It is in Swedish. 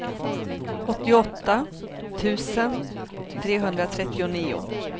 åttioåtta tusen trehundratrettionio